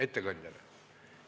Ettekandjale.